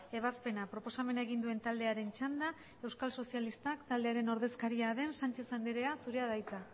ebazpena proposamen egin duen taldearen txanda euskal sozialistak taldearen ordezkaria den sanchez anderea zurea da hitza